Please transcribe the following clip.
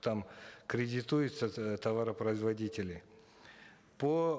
там кредитуются э товаропроизводители по